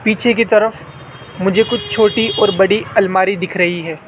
पीछे की तरफ मुझे कुछ छोटी और बड़ी अलमारी दिख रही हैं।